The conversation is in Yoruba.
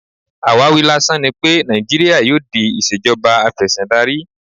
Àwáwí lásán ni wípé Nàìjíríà yóò di ìṣèjọba afẹ́síndarí.